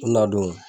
U na don